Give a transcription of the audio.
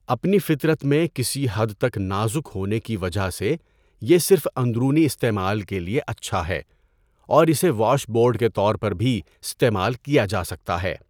اپنی فطرت میں کسی حد تک نازک ہونے کی وجہ سے، یہ صرف اندرونی استعمال کے لیے اچھا ہے اور اسے واش بورڈ کے طور پر بھی استعمال کیا جا سکتا ہے۔